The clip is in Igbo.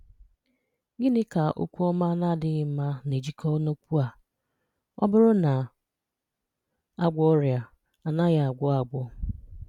Gịnị́ ka okwu ọma na-adịghị mma na-ejikọta na okwu a: “Ọ bụrụ́ na a gwọọ́ ọrịa, a anaghị́ agwọ́ agwọ́?